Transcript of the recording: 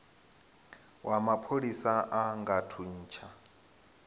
wa mapholisa a nga thuntsha